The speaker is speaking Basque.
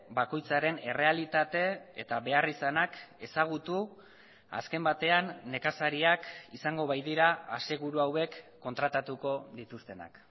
bakoitzaren errealitate eta beharrizanak ezagutu azken batean nekazariak izango baitira aseguru hauek kontratatuko dituztenak